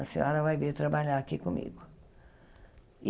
A senhora vai vir trabalhar aqui comigo.